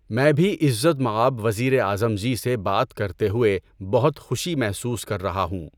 میں بھی عزت مآب وزیر اعظم جی سے بات کرتے ہوئے بہت خوشی محسوس کر رہا ہوں۔